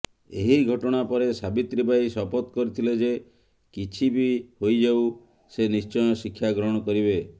ଏହି ଘଟଣା ପରେ ସାବିତ୍ରୀବାଈ ଶପଥ କରିଥିଲେ ଯେ କିଛି ବି ହୋଇଯାଉ ସେ ନିଶ୍ଚୟ ଶିକ୍ଷାଗ୍ରହଣ କରିବେ